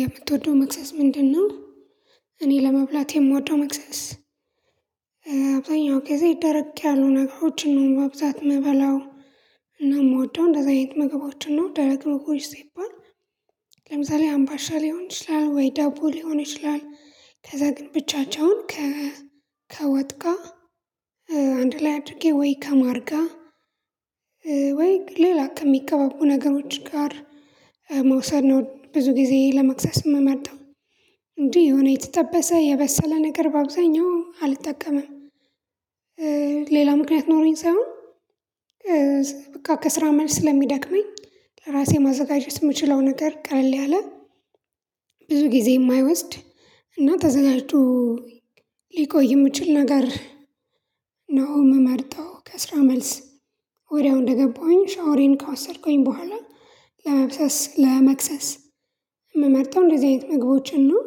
የምትወደው መክሰስ ምንድነው? እኔ ለመብላቴ የምወደው መክሰስ እእእ ሁልጊዜ ደረቅ ያሉ ነገሮችን ነው በብዛት ምበላው እና የምወደው እንደዚህ አይነት ምግቦችን ነው ደረቅ ምግቦች ሲባል ለምሳሌ አምባሻ ሊሆን ይችላል ወይ ዳቦ ሊሆን ይችላል ከዛ ግን ብቻቸውን ከ ከወጥ ጋር አንድ ላይ አድርጌ ወይ ከማር ጋር ወይ ሌላ ከሚቀባቡ ነገሮች ጋር መውሰድ ነው ብዙ ጊዜ ለመክሰስ የምመርጠው እንጂ የሆነ የተጠበሰ የበሰለ ነገር በአብዛኛው አልጠቀምም። ሌላ ምክንያት ኖሮኝ ሳይሆን እ በቃ ከስራ መልስ ስለሚደክመኝ ለራሴ ማዘጋጀት የምችለው ነገር ቀለል ያለ ብዙ ጊዜ የማይወስድ እና ተዘጋጅቶ ሊቆይ የሚችል ነገር ነው የምመርጠው ከስራ መልስ ወዲያው እንደገባሁኝ ሻወሬን ከወሰድኩኝ በኋላ ለመክሰስ ለመክሰስ ምመርጠው እንደዚህ አይነት ምግቦችን ነው።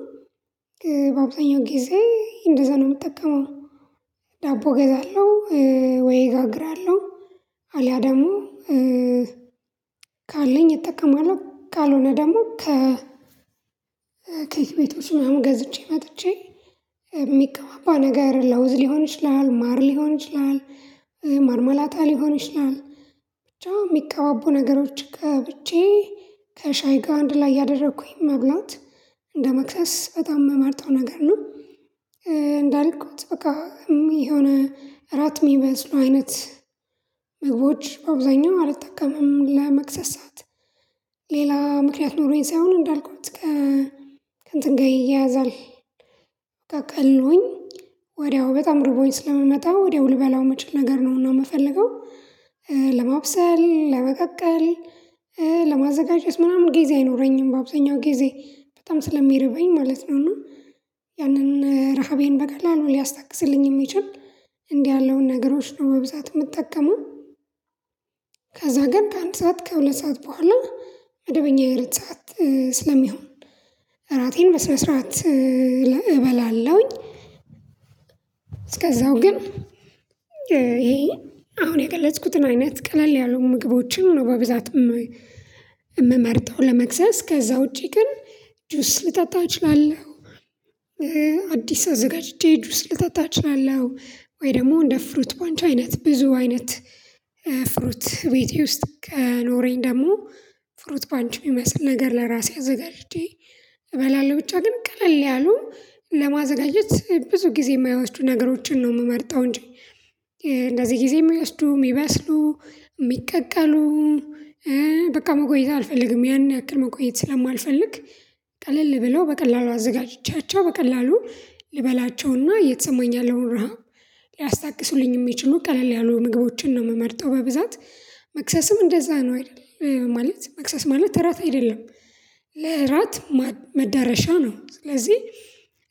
በአብዛኛው ጊዜ እንደዛ ነው የምጠቀመው ገዛለሁ ወይ ጋግራለሁ አልያ ደግሞ እ ካለኝ እጠቀማለሁ ካልሆነ ደግሞ ከ ከየቤቱ ስምም ገዝቼ መጥቼ የሚቀባባ ነገር ለውዝ ሊሆን ይችላል ማር ሊሆን ይችላል ማርማላታ ሊሆን ይችላል ብቻ የሚቀባቡ ነገሮች ቀብቼ ከሻይ ጋር አንድ ላይ ያደረኩኝ መብላት እንደመክሰስ በጣም የምመርጠው ነገር ነው። እንዳልኩት በቃ የሆነ እራት የሚመስሉ አይነት ምግቦች በአብዛኛው አልጠቀምም ለመክሰስ ሰዓት ሌላ ምክንያት ኖሮኝ ሳይሆን እንዳልኩት ከ ከእንትን ጋር ይያያዛል። ቀልሎኝ ወዲያው በጣም ርቦኝ ስለምመጣ ወዲያው ልበላው ምችል ነገር ነው የምፈልገው ለማብሰል ለመቀቀል ለማዘጋጀት ምናምን ጊዜ አይኖረኝም በአብዛኛው ጊዜ በጣም ስለሚርበኝ ማለት ነው እና ያንን ረሃቤን በቀላሉ ሊያስታግዝልኝ የሚችል እንዲህ ያለውን ነገሮች ነው በብዛት የምጠቀመው። ከዛ ግን ከአንድ ሰዓት ከሁለት ሰዓት በኋላ መደበኛ የእራት ሰዓት ስለሚሆን እራቴን በስነ ስርዓት እበላለሁኝ። እስከዛው ግን ይሄ አሁን የገለጽኩትን አይነት ቀለል ያሉ ምግቦችን ነው በብዛት ም የምመርጠው ለመክሰስ ከዛ ውጪ ግን ጁስ ልጠጣ እችላለሁ። አዲስ አዘጋጅቼ ጁስ ልጠጣ እችላለሁ ወይ ደግሞ እንደ ፍሩት ፓንች አይነት ብዙ አይነት ፍሩት ቤቴ ውስጥ ከኖረኝ ደግሞ ፍሩት ፓንች የሚመስል ነገር ለራሴ አዘጋጅቼ እበላለሁ ብቻ ግን ቀለል ያሉ ለማዘጋጀት ብዙ ጊዜ የማይወስዱ ነገሮችን ነው የምመርጠው። እንጂ እንደዚህ ጊዜ የሚወስዱ የሚበስሉ የሚቀቀሉ እ በቃ መቆየት አልፈልግም ያን ያክል መቆየት ስለማልፈልግ ቀለል ብለው በቀላሉ አዘጋጅቻቸው በቀላሉ ልበላቸውና የተሰማኝ ያለውን ረሃብ ሊያስታግሱልኝ የሚችሉ ቀለል ያሉ ምግቦችን ነው የምመርጠው በብዛት መክሰስም እንደዛ ነው አይደል ማለት መክሰስ ማለት እራት አይደለም። ለእራት ማ መዳረሻ ነው ስለዚህ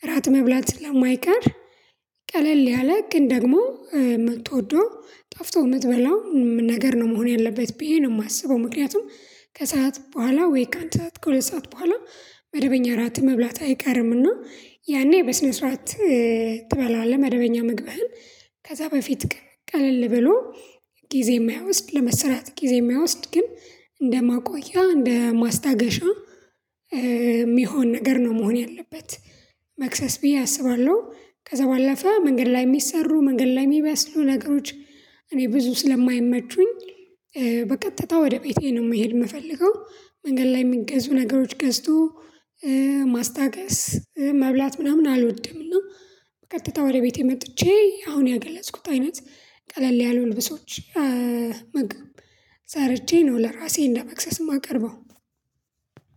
እራት መብላት ስለማይቀር ቀለል ያለ ግን ደግሞ የምትወደው ጣፍቶኽ የምትበላው ነገር ነው መሆን ያለበት ብዬ ነው የማስበው ምክንያቱም ከሰአት በኋላ ወይ ከአንድ ሰዓት ከሁለት ሰዓት በኋላ መደበኛ ራት መብላት አይቀርምና ያኔ በስነ ስርዓት ትበላለህ መደበኛ ምግብህን ከዛ በፊት ግን ቀለል ብሎ ጊዜ የማይወስድ ለመሰራት ጊዜ የማይወስድ ግን እንደማቆያ እንደማስታገሻ ሚሆን ነገር ነው መሆን ያለበት መክሰስ ብዬ አስባለሁ። ከዛ ባለፈ መንገድ ላይ የሚሰሩ መንገድ ላይ የሚበስሉ ነገሮች እኔ ብዙ ስለማይመቹኝ በቀጥታ ወደ ቤቴ ነው መሄድ የምፈልገው መንገድ ላይ የሚገዙ ነገሮች ገዝቶ ማስታገስ መብላት ምናምን አልወድም። እና በቀጥታ ወደ ቤቴ መጥቼ አሁን የገለጽኩት አይነት ቀለል ያሉ ልብሶች ምግብ ሰርቼ ነው ለራሴ እንደመክሰስ የማቀርበው።